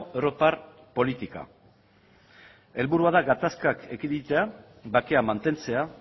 europar politika helburua da gatazkak ekiditea bakea mantentzea